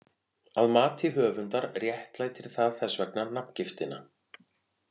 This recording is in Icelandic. Að mati höfundar réttlætir það þess vegna nafngiftina.